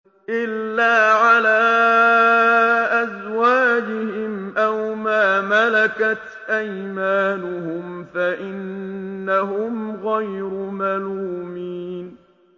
إِلَّا عَلَىٰ أَزْوَاجِهِمْ أَوْ مَا مَلَكَتْ أَيْمَانُهُمْ فَإِنَّهُمْ غَيْرُ مَلُومِينَ